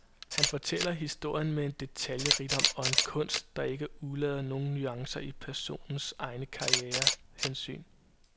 Han fortæller historien med en detaljerigdom og en portrætteringskunst, der ikke udelader nogen nuancer i personernes egne karriere hensyn.